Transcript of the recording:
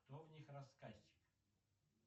кто в них рассказчик